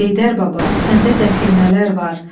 Heydər baba səndə dəfinələr var.